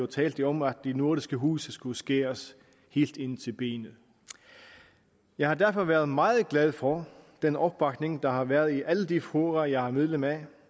talte om at de nordiske huse skulle skæres ind til benet jeg har derfor været meget glad for den opbakning der har været i alle de fora jeg er medlem af